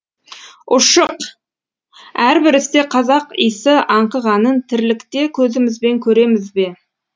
ұшық әрбір істе қазақ исі аңқығанын тірлікте көзімізбен көреміз бе